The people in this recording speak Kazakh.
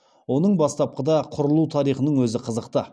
оның бастапқыда құрылу тарихының өзі қызықты